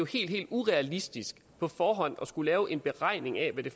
helt helt urealistisk på forhånd at skulle lave en beregning af hvad det